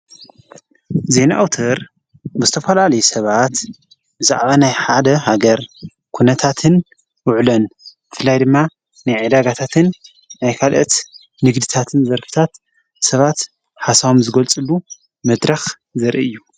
ዘይንኣውተር በስተፈልዓሌ ሰባት ብዛዕባ ናይ ሓደ ሃገር ኲነታትን ውዕለን ፍላይ ድማ ንይዕዳጋታትን ኣይካልእት ንግድታትን ዘርፍታት ሰባት ሓሳዋም ዝጐልጽሉ መድራኽ ዘርኢ እዩ።